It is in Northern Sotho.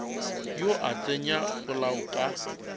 yo a tsenya polao ka